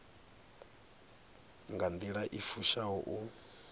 nga nḓila i fushaho u